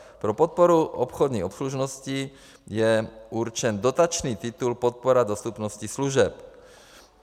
Pro podporu obchodní obslužnosti je určen dotační titul Podpora dostupnosti služeb.